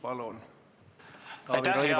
Palun, Taavi Rõivas!